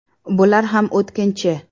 Bular ham o‘tkinchi.